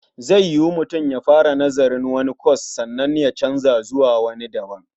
Zai yiwu mutum ya fara nazarin wani kwas sannan ya canza zuwa wani daban.